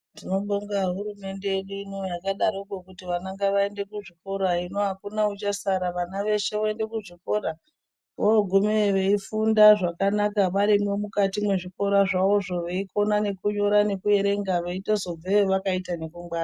Tinobonga hurumende ino yakadarokwo kuti vana vaende kuzvikora hino akuna uchasara vana veshe voende kuzvikora vorogumeyo veifunda zvakanka varimwo muzvikora zvavo veikona nekunyora nekuerenga veitozobveyo vakaita nekungwara.